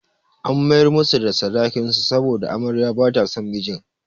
An mayar musu da sadakin su saboda amaryar ba ta son mijin.